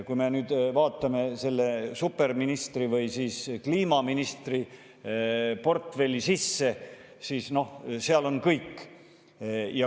Kui me vaatame selle superministri või kliimaministri portfelli sisse, siis näeme, et noh, seal on kõik.